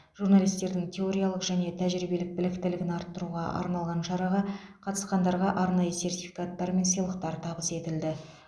журналистердің теориялық және тәжірибелік біліктілігін арттыруға арналған шараға қатысқандарға арнайы сертификаттар мен сыйлықтар табыс етілді